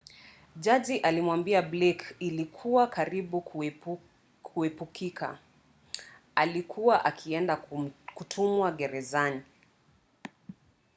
jaji alimwambia blake ilikuwa karibu kuepukika alikuwa akienda kutumwa gerezan